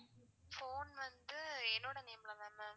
phone வந்து என்னோட name ல தான் ma'am